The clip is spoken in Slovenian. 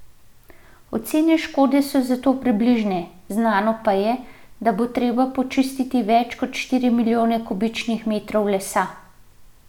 Ocene škode so zato približne, znano pa je, da bo treba počistiti več kot štiri milijone kubičnih metrov lesa.